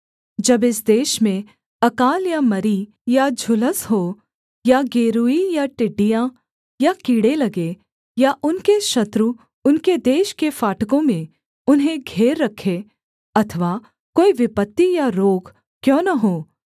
जब इस देश में अकाल या मरी या झुलस हो या गेरूई या टिड्डियाँ या कीड़े लगें या उनके शत्रु उनके देश के फाटकों में उन्हें घेर रखें अथवा कोई विपत्ति या रोग क्यों न हों